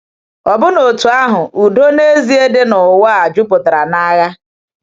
Ọ̀bụ́na otú ahụ, udo n'ezie dị n’ụwa a jupụtara n’agha.